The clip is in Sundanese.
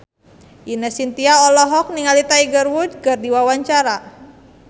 Ine Shintya olohok ningali Tiger Wood keur diwawancara